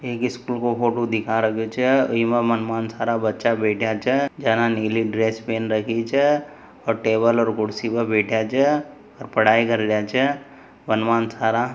एक स्कूल को फोटो दिखा रखयो छ इमें थारा बच्चा बैठ्या छ जना नीली ड्रेस पहन रखी छ और टेबल और कुर्सी पर बैठ्या छ और पढ़ाई करया छ थारा--